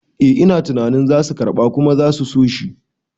Eh ina tunanin zasu karɓa kuma zasu soshi